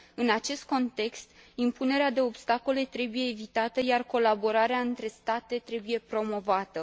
În acest context, impunerea de obstacole trebuie evitată, iar colaborarea între state trebuie promovată.